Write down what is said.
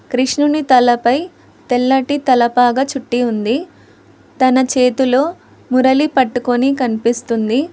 కృష్ణుని తలపై తెల్లటి తలపాగ చుట్టి ఉంది తన చేతిలో మురళి పట్టుకొని కనిపిస్తుంది.